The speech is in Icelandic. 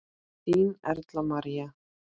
Þín Erla María.